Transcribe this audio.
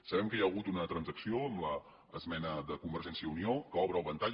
sabem que hi ha hagut una transacció amb l’esmena de convergència i unió que obre el ventall